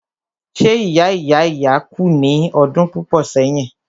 ṣé ìya ìya ìya kú ní ọdún púpọ̀ sẹ́yìn?